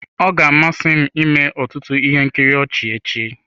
Ọ ga-amasị m ịme ọtụtụ ihe nkiri ọchị echi.